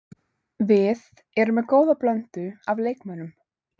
Við erum með góða blöndu af leikmönnum.